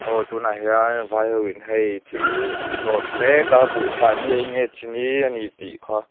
aw tunah hian vai hoin hei thil an load mek a buhfai nge enge chini a nih tih kha --